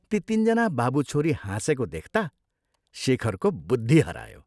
ती तीनजना बाबु छोरी हाँसेको देख्ता शेखरको बुद्धि हरायो।